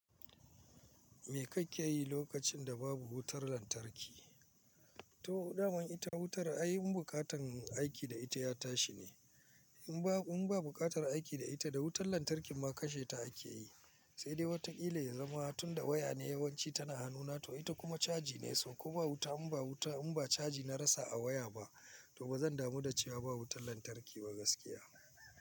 Me kake yi lokacin da babu wutar lantarki? To, dama ita wutar ayin buƙatan aiki da ita ya tashi ne. In ba, in ba buƙatar aiki da ita da wutar lantarkin ma kashe ta ake yi. Sai dai wataƙila ya zama tun da waya ne yawanci tana hannuna to ita kuma caji ne. So ko ba wuta, in ba wuta, in ba caji na rasa a waya ba to ba zan damu da cewa ba wutar lantarki ba gaskiya.